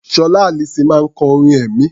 Sọlá Allyson máa ń kọ orin ẹ̀mí.